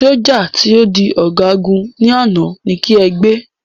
sójà to di ọgagun ni àná, ní ki ẹ gbé